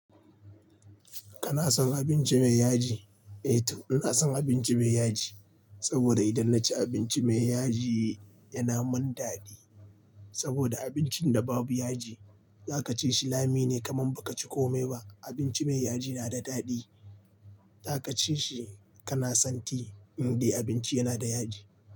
Kana son abinci mai yaji? Eh to ina son abinci mai yaji, saboda idan naci abinci mai yaji yana mun dadi. Saboda abincin da babu yaji, za ka ci shi lami ne kaman ba ka ci komai ba. Abinci mai yaji na da dadi, za ka ci shi kana santi in dai abinci yana da yaji.